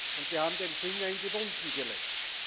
Und wir haben den Finger in die Wunden gelegt.